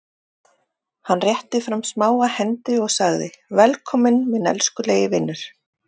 Hann rétti fram smáa hendi og sagði: Velkominn minn elskulegi vinur.